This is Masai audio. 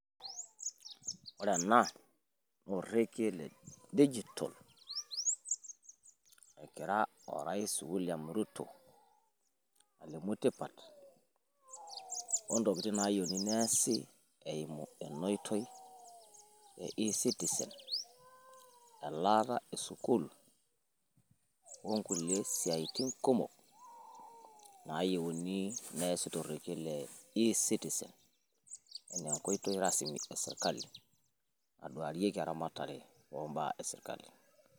Ore ena naa orekie le digital egira orais William Ruto alimu tipat ontokitin nayieuni neasi eeimu enaoitoi e citizen elaata e sukuul o nkulie siaitin kumok nayieuni neasi torekie le e citizen enas enkoitoi rasmi e sirkali naaduariki eramatare o mbaa e sirkali